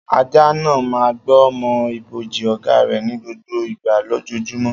Ajá náà máa ń gbó mọ́ ibojì ọ̀gá rẹ̀ ní gbogbo ìgbà lójoojúmọ́.